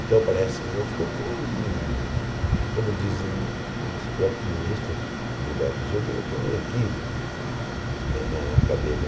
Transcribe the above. Então, parece... Como diz o ministro próprio ministro Gilberto Gil, foi um equívoco na época dele.